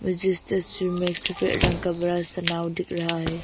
मुझे इस तस्वीर में एक सफेद रंग का बड़ा सा नाव दिख रहा है।